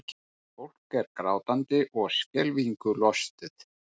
Fólk er grátandi og skelfingu lostið